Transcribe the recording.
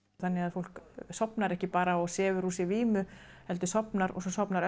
fólk sofnar ekki bara og sefur úr sér vímu heldur sofnar og svo sofnar